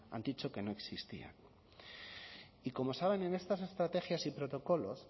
han dicho que no existía y como saben en estas estrategias y protocolos